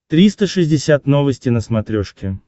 триста шестьдесят новости на смотрешке